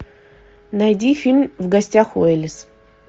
найди фильм в гостях у элис